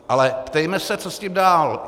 Ale ptejme se, co s tím dál.